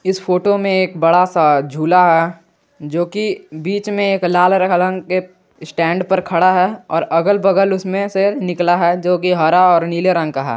इस फोटो में एक बड़ा सा झूला है जोकि बीच में एक लाल हरा रंग के स्टैंड पर खड़ा है अगल बगल उसमें से निकला है जोकि हरा और नीले रंग का है।